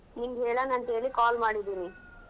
ನಿಂಗ್ ಹೇಳೋಣ ಅಂತ ಹೇಳಿ call ಮಾಡಿದ್ದೀನಿ.